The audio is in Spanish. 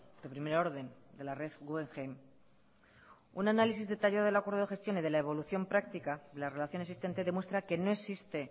de primer orden de la red guggenheim un análisis detallado del acuerdo de gestión y de la evolución practica de las relaciones existente demuestra que no existe